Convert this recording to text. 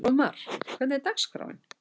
Fróðmar, hvernig er dagskráin?